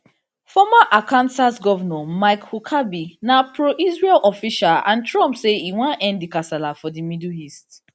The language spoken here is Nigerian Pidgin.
former arkansas governor mike huckabee na proisrael official and trump say e wan end di kasala for di middle east